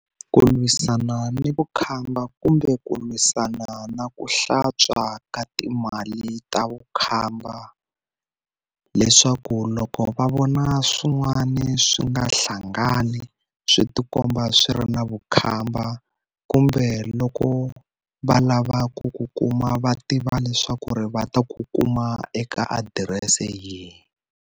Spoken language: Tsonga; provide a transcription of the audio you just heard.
Ku lwisana ni vukhamba kumbe ku lwisana na ku hlantswa ka timali ta vukhamba. Leswaku loko va vona swin'wani swi nga hlangani swi tikomba swi ri na vukhamba, kumbe loko va lava ku ku kuma va tiva leswaku ri va ta ku kuma eka adirese yihi.